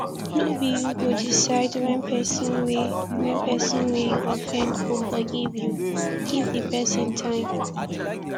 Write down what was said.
no be you go decide when person wey when person wey you offend go forgive you give di person time